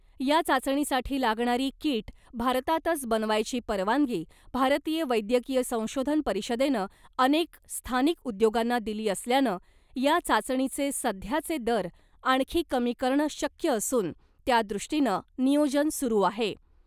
या चाचणीसाठी लागणारी कीट भारतातच बनवायची परवानगी भारतीय वैद्यकीय संशोधन परिषदेनं अनेक स्थानिक उद्योगांना दिली असल्यानं या चाचणीचे सध्याचे दर आणखी कमी करणं शक्य असून त्यादृष्टीनं नियोजन सुरू आहे .